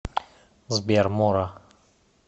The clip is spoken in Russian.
сбер мора